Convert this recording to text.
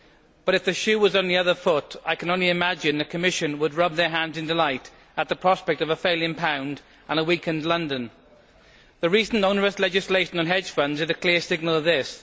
But, if the shoe was on the other foot, I can only imagine that the Commission would rub their hands in delight at the prospect of a failing pound and a weakened London. The recent onerous legislation on hedge funds is the clear signal of this.